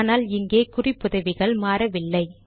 ஆனால் இங்கே குறிப்புதவிகள் மாறவில்லை